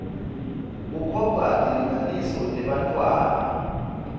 kukhokhwa tilinganiso tebantfwana